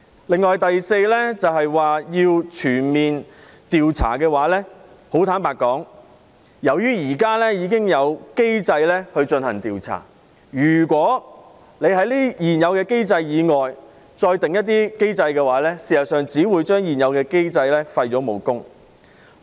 此外，第四項訴求是要求全面調查事件，坦白說，由於現時已有機制進行調查，如果再設立另一些機制，事實上只會將現有機制的武功廢除。